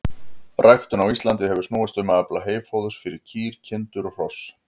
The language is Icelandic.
Ræktun á Íslandi hefur snúist um að afla heyfóðurs fyrir kýr, kindur og hross.